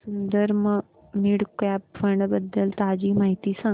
Sundaram mid cap fund बद्दल ताजी माहिती सांग